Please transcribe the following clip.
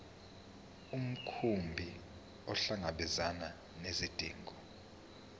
mkhumbi ukuhlangabezana nezidingo